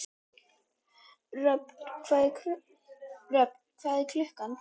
Röfn, hvað er klukkan?